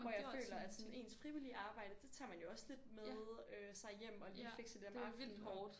Hvor jeg føler at sådan ens frivillige arbejde det tager man jo også lidt med sig hjem og lige fikser det om aftenen og